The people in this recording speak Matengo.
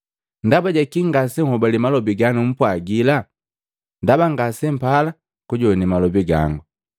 Ndaba ja kii ngaseuhobale malobi ga numpwagila? Ndaba ngasempala kujowane malobi gango.